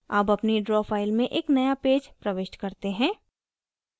अब अपनी draw file में एक नया पेज प्रविष्ट करते हैं